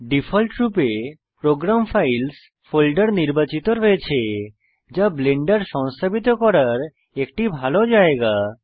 ডিফল্টরূপে program files folder নির্বাচিত রয়েছে যা ব্লেন্ডার সংস্থাপিত করার একটি ভালো জায়গা